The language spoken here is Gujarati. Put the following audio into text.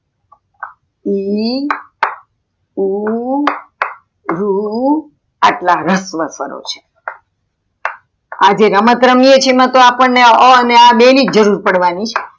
ઈ ઉ ઋ એટલા રસ્વ સ્વરો છે આજે રમત રમીએ છીએ અપ્દને અ અને આ બે નિજ જરૂર પડવાની છે.